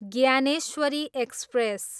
Dnyaneshwari express